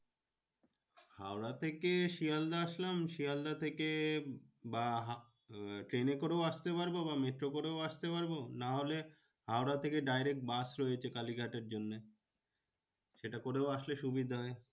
হাওড়া থেকে শিয়ালদাহ আসলাম শিয়ালদাহ থেকে বা ওই ট্রেনে করেও আসতে পারবো বা মেট্রো করেও আসতে পারবো। নাহলে হাওড়া থেকে direct বাস রয়েছে কালীঘাটের জন্যে। সেটা করেও আসলে সুবিধা।